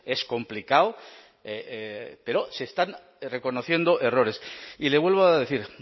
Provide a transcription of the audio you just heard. es complicado pero se están reconociendo errores y le vuelvo a decir